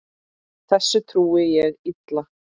Þessu trúi ég illa.